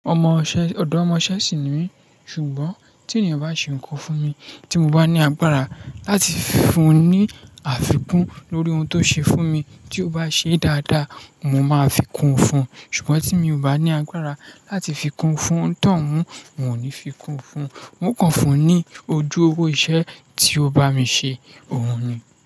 Ọmọṣẹ́, ọ̀dọ́ ọmọṣẹ́ sì ni mí, ṣùgbọ́n tí ènìyàn bá ṣe nnkan fún mi tí mo bá ní agbára láti fún un ní àfikún lórí ohun tó ṣe fún mi, tí ó bá ṣe dáadáa, mo máa fikún un fún, ṣùgbọ́n tí mi ò bá ní agbára láti fikún fún tán, n ò ní fikún fún, mo kàn fún un ní ojú owó iṣẹ́ tí ó bá mi ṣe, òhun ni.